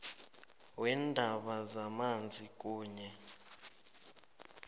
weendaba zamanzi kunye